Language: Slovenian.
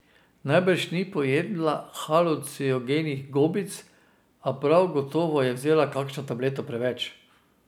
Najbrž ni pojedla halucinogenih gobic, a prav gotovo je vzela kakšno tableto preveč.